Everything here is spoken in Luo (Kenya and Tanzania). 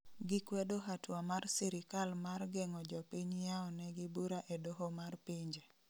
Gikwedo hatua mar sirikal mar geng'o jopiny yao ne gi bura e doho mar pinje